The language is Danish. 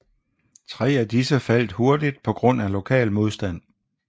Tre af disse faldt hurtigt på grund af lokal modstand